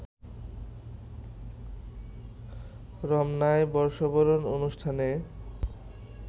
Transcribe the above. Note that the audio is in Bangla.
রমনায় বর্ষবরণ অনুষ্ঠানে